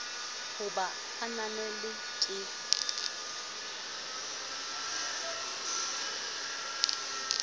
ho ba e ananelwe ke